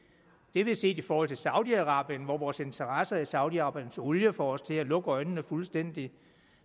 har vi set i forhold til saudi arabien hvor vores interesser i saudi arabiens olie får os til at lukke øjnene fuldstændig